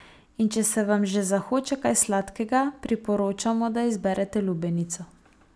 In če se vam že zahoče kaj sladkega, priporočamo, da izberete lubenico.